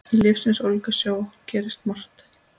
Í lífsins ólgusjó gerist margt.